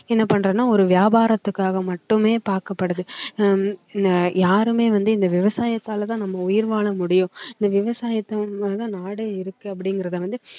என்ன பண்றன்னா ஒரு வியாபாரத்துக்காக மட்டுமே பார்க்கப்படுது அஹ் உம் யாருமே வந்து இந்த விவசாயத்தால தான் நம்ம உயிர் வாழ முடியும் இந்த விவசாயத்தை நாடே இருக்கு அப்படிங்கறத வந்து